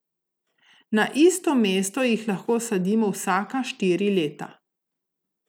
Na isto mesto jih lahko sadimo vsaka štiri leta.